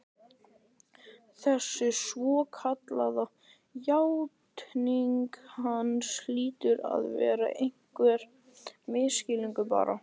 Þessi svokallaða játning hans hlýtur að vera einhver misskilningur, bara